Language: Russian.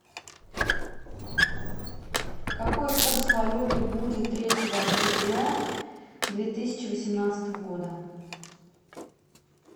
какой курс валюты будет третьего октября две тысячи восемнадцатого года